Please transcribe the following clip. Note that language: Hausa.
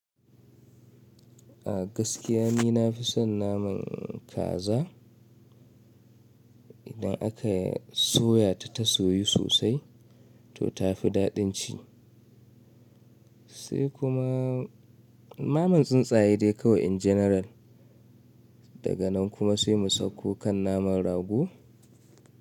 A gaskiya nina fi son naman kaza idan aka soya ta, ta soyu sosai to tafi daɗin ci. Sai kuma naman tsuntsaye dai kawai in general. Daga nan kuma sai mu sauko kan naman rago.